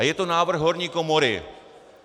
A je to návrh horní komory.